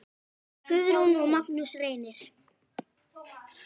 Guðrún og Magnús Reynir.